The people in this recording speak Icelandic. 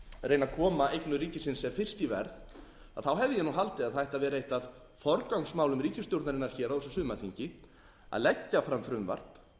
reyna að koma eignum ríkisins sem fyrst í verð hefði ég haldið að það ætti að vera eitt af forgangsmálum ríkisstjórnarinnar hér á þessu sumarþingi að leggja fram frumvarp